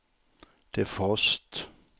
defrost